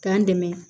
K'an dɛmɛ